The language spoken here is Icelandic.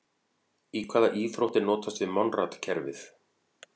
Í hvaða íþrótt er notast við Monrad-kerfið?